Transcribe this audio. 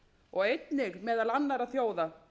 og einnig meðal annars annarra þjóða